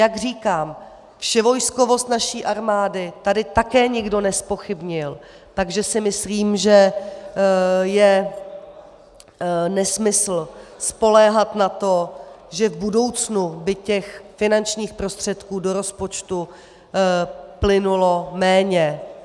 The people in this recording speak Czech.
Jak říkám, vševojskovost naší armády tady také nikdo nezpochybnil, takže si myslím, že je nesmysl spoléhat na to, že v budoucnu by těch finančních prostředků do rozpočtu plynulo méně.